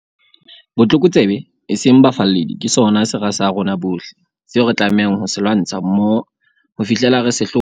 Botlokotsebe, eseng bafalledi, ke sona sera sa rona bohle, seo re tlamehang ho se lwantsha mmoho ho fihlela re se hlola.